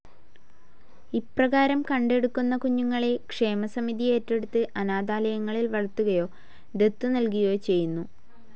ഇപ്രകാരം കണ്ടെടുക്കുന്ന കുഞ്ഞുങ്ങളെ ക്ഷേമസമിതി ഏറ്റെടുത്തു് അനാഥാലയങ്ങളിൽ വളർത്തുകയോ ദത്തു നൽകുകയോ ചെയ്യുന്നു.